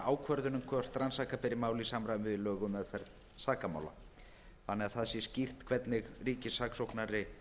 ákvörðun um hvort rannsaka beri mál í samræmi við lög um meðferð sakamála þannig að það sé skýrt hvernig ríkissaksóknari